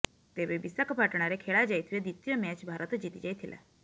ତେବେ ବିଶାଖାପାଟଣାରେ ଖେଳା ଯାଇଥିବା ଦ୍ୱିତୀୟ ମ୍ୟାଚ୍ ଭାରତ ଜିତି ଯାଇଥିଲା